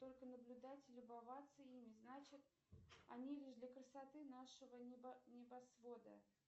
только наблюдать и любоваться ими значит они лишь для красоты нашего небосвода